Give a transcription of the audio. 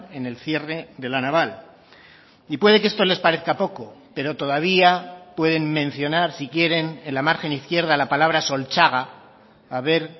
en el cierre de la naval y puede que esto les parezca poco pero todavía pueden mencionar si quieren en la margen izquierda la palabra solchaga a ver